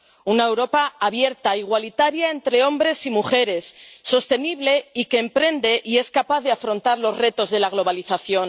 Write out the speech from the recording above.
una Europa abierta, igualitaria entre hombres y mujeres, sostenible, y que emprende y es capaz de afrontar los retos de la globalización.